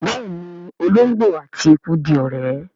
béèni olongbo àti ẹkú dì ọrẹ.